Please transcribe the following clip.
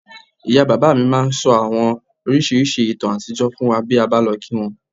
Ìyá bàbá mi máa ń ń sọ àwọn oríṣiríṣi ìtàn àtijọ́ fún wa bí a bá lọ kí wọ́n